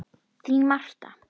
Þín, Martha.